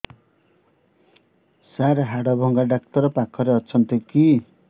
ସାର ହାଡଭଙ୍ଗା ଡକ୍ଟର ପାଖରେ ଅଛନ୍ତି କି